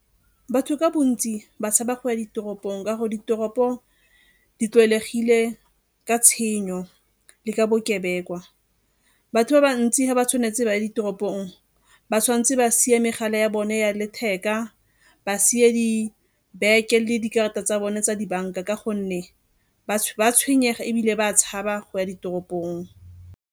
Batho ka bontsi ba tshaba go ya ditoropong ka gore ditoropo di tlwaelegile ka tshenyo le ka bokebekwa. Batho ba bantsi ga ba tshwanetse ba ditoropong ba tshwanetse ba sie megala ya bone ya letheka, ba sie dibeke le dikarata tsa bone tsa dibanka ka gonne ba a tshwenyega ebile ba a tshaba go ya ditoropong.